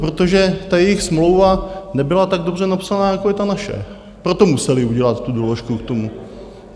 Protože ta jejich smlouva nebyla tak dobře napsaná, jako je ta naše, proto museli udělat tu doložku k tomu.